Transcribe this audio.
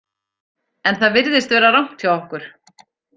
En það virðist vera rangt hjá okkur.